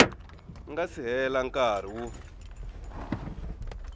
nga si hela nkarhi wo